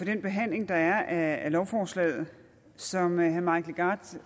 den behandling der er af lovforslaget som herre mike legarth